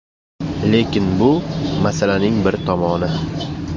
Lekin bu – masalaning bir tomoni.